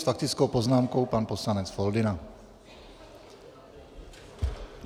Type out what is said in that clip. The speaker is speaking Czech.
S faktickou poznámkou pan poslanec Foldyna.